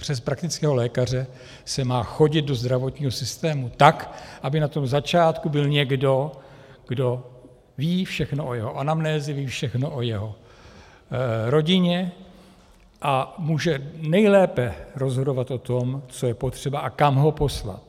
Přes praktického lékaře se má chodit do zdravotního systému tak, aby na tom začátku byl někdo, kdo ví všechno o jeho anamnéze, ví všechno o jeho rodině a může nejlépe rozhodovat o tom, co je potřeba a kam ho poslat.